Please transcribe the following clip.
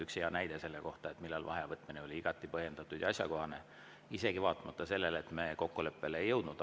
Üks hea näide selle kohta, kui vaheaja võtmine oli igati põhjendatud ja asjakohane, isegi vaatamata sellele, et me kokkuleppele ei jõudnud.